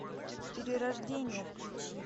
перерождение включи